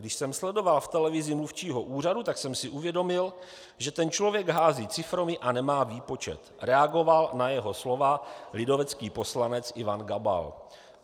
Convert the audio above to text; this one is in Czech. "Když jsem sledoval v televizi mluvčího úřadu, tak jsem si uvědomil, že ten člověk hází ciframi a nemá výpočet," reagoval na jeho slova lidovecký poslanec Ivan Gabal.